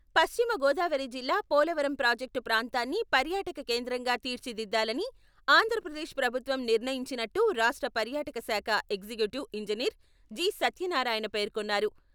పశ్చిమ గోదావరి జిల్లా పోలవరం ప్రాజెక్టు ప్రాంతాన్ని పర్యాటక కేంద్రంగా తీర్చిదిద్దాలని ఆంధ్రప్రదేశ్ ప్రభుత్వం నిర్ణయించినట్టు రాష్ట్ర పర్యాటక శాఖ ఎగ్జిక్యూటివ్ ఇంజినీర్ జి.సత్యనారాయణ పేర్కొన్నారు.